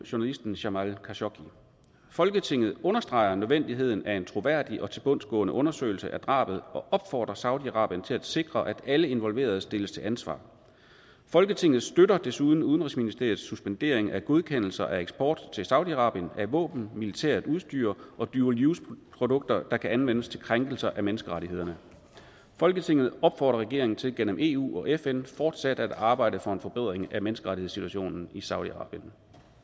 journalisten jamal khashoggi folketinget understreger nødvendigheden af en troværdig og tilbundsgående undersøgelse af drabet og opfordrer saudi arabien til at sikre at alle involverede stilles til ansvar folketinget støtter desuden udenrigsministeriets suspendering af godkendelser af eksport til saudi arabien af våben militært udstyr og dual use produkter der kan anvendes til krænkelser af menneskerettighederne folketinget opfordrer regeringen til gennem eu og fn fortsat at arbejde for en forbedring af menneskerettighedssituationen i saudi arabien